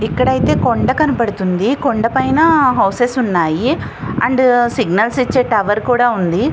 ఇక్కడ అయితే కొండ కనపడుతుంది. కొండపైన హౌసెస్ ఉన్నాయి అండ్ సిగ్నల్స్ ఇచ్చే టవర్ కూడా ఉంది.